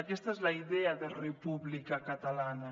aquesta és la idea de república catalana